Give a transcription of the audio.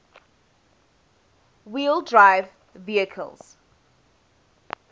wheel drive vehicles